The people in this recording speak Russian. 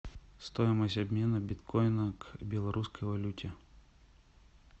стоимость обмена биткоина к белорусской валюте